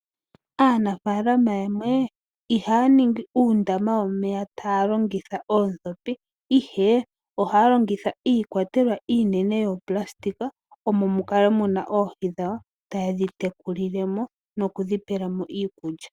Aanafalama yamwe ihaya ningi uundama womeya taya longitha oondhopi, ihe ohaya longitha iikwatelwa iinene yopulasitika omo mu kale oohi dhawo taye dhi tekulile mo nokudhi pela mo iikulya.